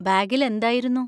ബാഗിൽ എന്തായിരുന്നു?